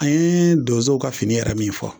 An ye donsow ka fini yɛrɛ min fɔ